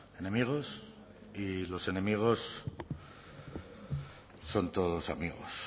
enemigos y los enemigos son todos amigos